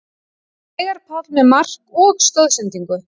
Veigar Páll með mark og stoðsendingu